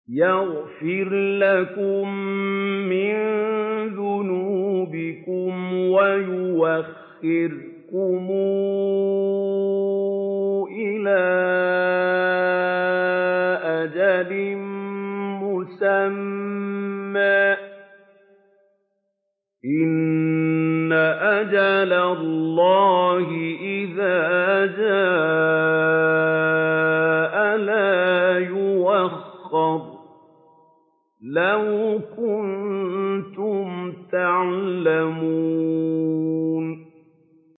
يَغْفِرْ لَكُم مِّن ذُنُوبِكُمْ وَيُؤَخِّرْكُمْ إِلَىٰ أَجَلٍ مُّسَمًّى ۚ إِنَّ أَجَلَ اللَّهِ إِذَا جَاءَ لَا يُؤَخَّرُ ۖ لَوْ كُنتُمْ تَعْلَمُونَ